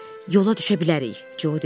Yola düşə bilərik, Co dedi.